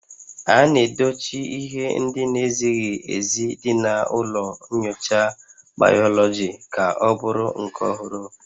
A na-edochi ihe ndị na-ezighị ezi dị na ụlọ nyocha bayoloji ka ọ bụrụ nke ọhụrụ